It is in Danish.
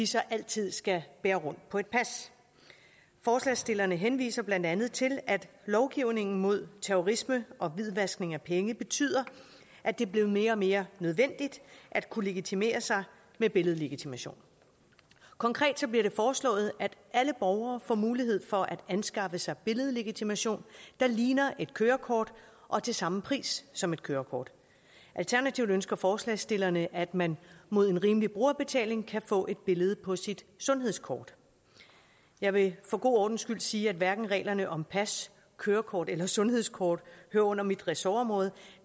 så altid skal bære rundt på et pas forslagsstillerne henviser blandt andet til at lovgivningen mod terrorisme og hvidvaskning af penge betyder at det er blevet mere og mere nødvendigt at kunne legitimere sig med billedlegitimation konkret bliver det foreslået at alle borgere får mulighed for at anskaffe sig billedlegitimation der ligner et kørekort og til samme pris som et kørekort alternativt ønsker forslagsstillerne at man mod en rimelig brugerbetaling kan få et billede på sit sundhedskort jeg vil for god ordens skyld sige at hverken reglerne om pas kørekort eller sundhedskort hører under mit ressortområde